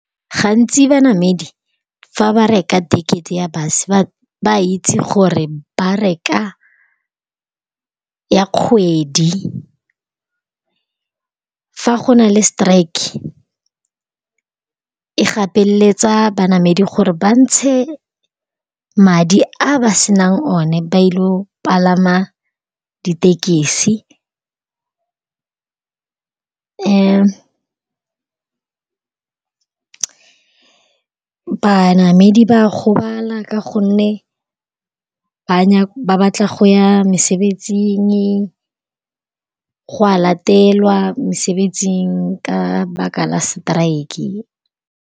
Gantsi banamedi fa ba reka tekete ya base ba itse gore ba reka ya kgwedi. Fa go na le strike-e e gapeletsa banamedi gore ba ntshe madi a ba senang o ne ba ile palama ditekesi. Banamedi ba gobala ka gonne ba batla go ya mesebetsing go a latelwa mesebetsing ka baka la strike-e.